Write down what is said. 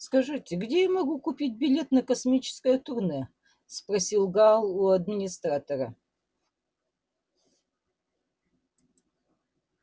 скажите где я могу купить билет на космическое турне спросил гаал у администратора